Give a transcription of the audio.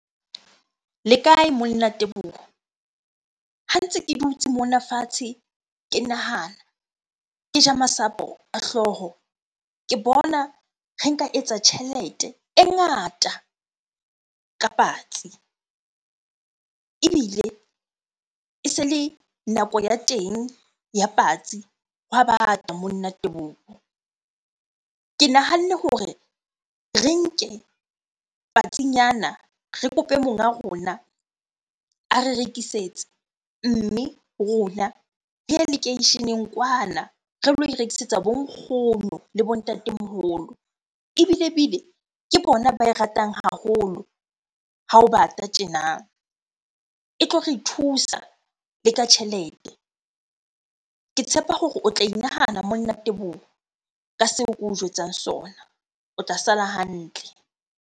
Le kae monna Teboho? Ha ntse ke dutse mona fatshe ke nahana, ke ja masapo a hlooho. Ke bona re nka etsa tjhelete e ngata ka patsi ebile e se le nako ya teng ya patsi, hwa bata monna Teboho. Ke nahanne hore re nke patsinyana, re kope monga rona a re rekisetse. Mme rona re yelekeisheneng kwana re lo e rekisetsa bo nkgono le bo ntatemoholo. Ebilebile ke bona ba e ratang haholo ha ho bata tjena. E tlo re thusa le ka tjhelete. Ke tshepa hore o tla inahana monna Teboho ka seo ke o jwetsang sona. O tla sala hantle.